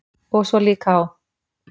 Og svo líka á